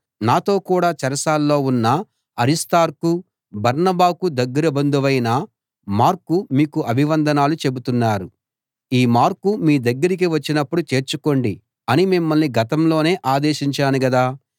నాతో కూడా చెరసాల్లో ఉన్న అరిస్తార్కు బర్నబాకు దగ్గర బంధువైన మార్కు మీకు అభివందనాలు చెబుతున్నారు ఈ మార్కు మీ దగ్గరికి వచ్చినప్పుడు చేర్చుకోండి అని మిమ్మల్ని గతంలోనే ఆదేశించాను గదా